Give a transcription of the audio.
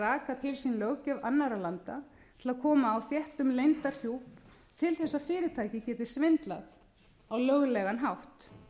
raka til sín löggjöf annarra landa til að koma á þéttum leyndarhjúp til þess að fyrirtæki geti svindlað á löglegan hátt